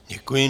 Děkuji.